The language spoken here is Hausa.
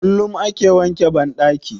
Kullum ake wanke Banɗaki.